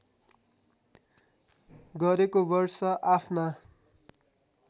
गरेको वर्ष आफ्ना